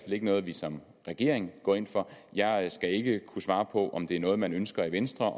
ikke noget vi som regering går ind for jeg skal ikke kunne svare på om det er noget man ønsker i venstre